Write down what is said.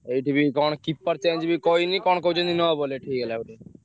ଏଇଥିଓ ବି କଣ keeper change ବି କହିନି କଣ କହୁଛନ୍ତି ।